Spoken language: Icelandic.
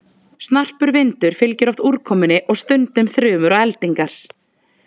Snarpur vindur fylgir oft úrkomunni og stundum þrumur og eldingar.